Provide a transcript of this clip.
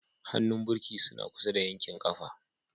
Hannun birki suna kusa da yankin ƙafa.